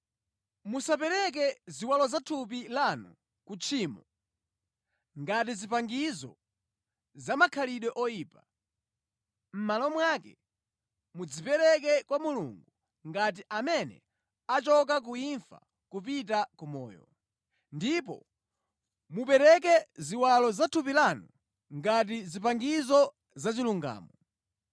Musapereke ziwalo zathupi lanu ku tchimo, ngati zipangizo zamakhalidwe oyipa. Mʼmalo mwake, mudzipereke kwa Mulungu, ngati amene achoka ku imfa kupita ku moyo. Ndipo mupereke ziwalo zathupi lanu ngati zipangizo zachilungamo.